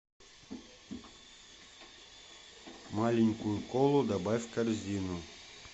маленькую колу добавь в корзину